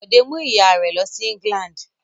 Bọ̀dé mú ìyà rẹ̀ lọ sí England.